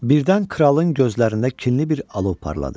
Birdən kralın gözlərində kinli bir alov parladı.